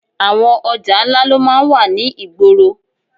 Àwọn ọjà ńlá ló máa ń wà ní ìgboro